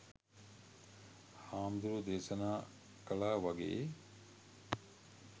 හාමුදුරුවො දේශනා කලා වගේ